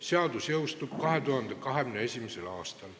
Seadus jõustub 2021. aastal.